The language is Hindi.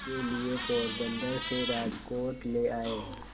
के लिए पोरबंदर से राजकोट ले आए